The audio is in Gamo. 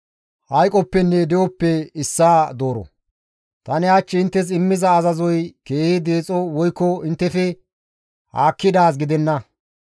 Tani hach inttes immiza azazoy keehi deexo woykko inttefe haakkidaaz gidenna.